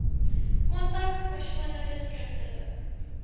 kontak persoonlik skriftelik